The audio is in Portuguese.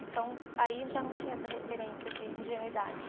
Então, aí já não tinha essa referência de ingenuidade.